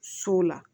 So la